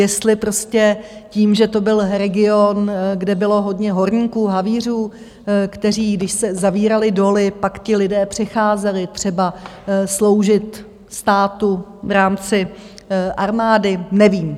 Jestli prostě tím, že to byl region, kde bylo hodně horníků, havířů, kteří když se zavíraly doly, pak ti lidé přecházeli třeba sloužit státu v rámci armády, nevím.